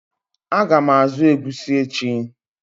Ága m azụ egusi echi.